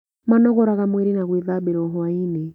Manogoraga mwĩrĩ na gwĩthambĩra o hwainĩ.